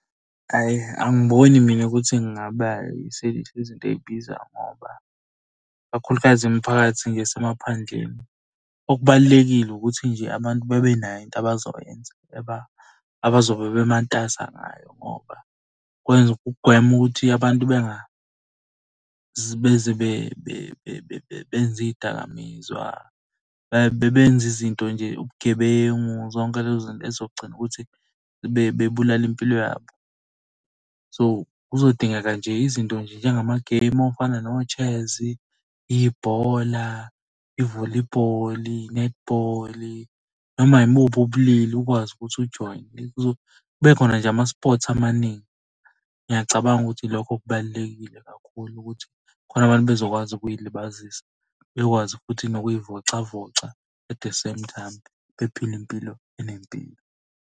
Hhayi angiboni mina ukuthi ngingaba izinto ey'bizayo ngoba kakhulukazi imiphakathi ngje esemaphandleni. Okubalulekile ukuthi nje abantu babenayo into abazoyenza abazobe bematasa ngayo ngoba kwenza ukugwema ukuthi abantu benze iy'dakamizwa, benze izinto nje ubugebengu zonke lezo zinto ey'zogcina ukuthi bebulale impilo yabo. So, kuzodingeka nje izinto nje njengamageyimu afana no-chess, ibhola, i-volleyball, i-netball noma imuphi ubulili ukwazi ukuthi ujoyine kube khona nje ama-sports amaningi. Ngiyacabanga ukuthi lokho kubalulekile kakhulu ukuthi khona abantu bezokwazi ukuy'libazisa. Bekwazi futhi nokuy'vocavoca at the same time bephile impilo enempilo.